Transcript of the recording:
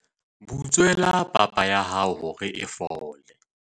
butswela papa ya hao hore e fole